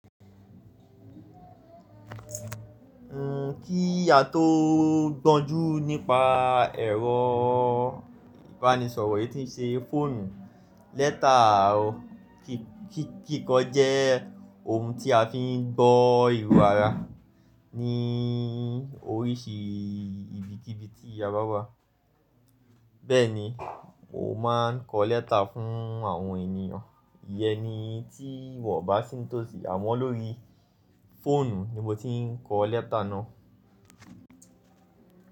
N ò kí à tó bọ́jú nípa ẹ̀rọ ìbánisọ̀rọ̀ yí tí n ṣe fóònù. Lẹ́tà kíkan jẹ́ ohun tí a fi ń gbọ́ ìrù ara ní oríṣi ibikíbi tí a bá wà. Bẹ́ẹ̀ ni, mo máà ń kọ lẹ́tà fún àwọn ènìyàn. Iye ni tí wọ́n bá sì ń tòsí, àmọ́ lórí fóònù ni mo ti ń kọ lẹ́tà náà.